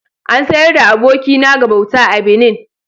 An sayar da abokina ga bauta a Benin